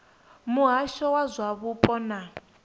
muhasho wa zwa mupo na